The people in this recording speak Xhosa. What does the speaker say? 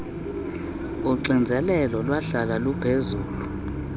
uxinzelelo lwahlala luphezulu